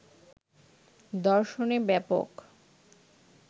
দর্শনে ব্যাপক